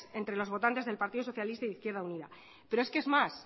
entre los votantes del partido socialista e izquierda unida pero es que es más